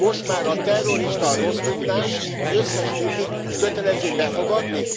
Most már a terrorista a rossz migráns, az összes többit kötelező befogadni?